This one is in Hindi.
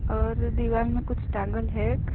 और दीवाल में कुछ टाँगल है क --